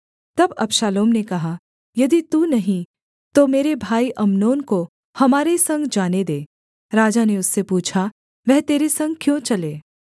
तब अबशालोम ने कहा यदि तू नहीं तो मेरे भाई अम्नोन को हमारे संग जाने दे राजा ने उससे पूछा वह तेरे संग क्यों चले